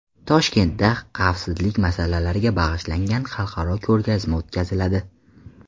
Toshkentda xavfsizlik masalalariga bag‘ishlangan xalqaro ko‘rgazma o‘tkaziladi.